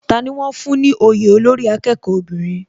Tani wón fún ní òye olórí akẹ́kọ̀ọ́ obìnrin?